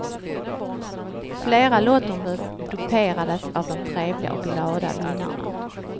Flera lottombud duperades av de trevliga och glada vinnarna.